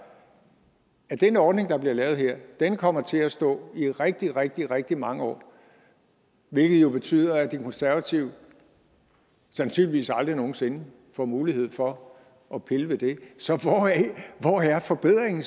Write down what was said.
at den ordning der bliver lavet her kommer til at stå i rigtig rigtig rigtig mange år hvilket jo betyder at de konservative sandsynligvis aldrig nogen sinde får mulighed for at pille ved det så hvor er forbedringen